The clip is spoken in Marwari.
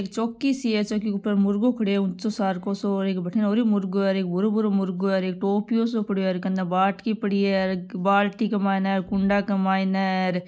एक चोकी सी है चोकी के ऊपर मुर्गो खड्यो है ऊंचो सार को सो एक बठीन ओरु मुर्गो है र एक भूरो भूरो मुर्गो है र एक टोपियो सो पड्यो है कने बाटकी पड़ी है बाल्टी के मायने कुंडा के मायने र।